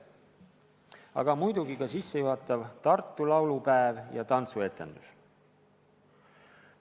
Kogu suursündmuse juhatasid sisse Tartu laulupäev ja tantsuetendus.